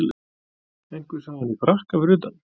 Einhver sá hann í frakka fyrir utan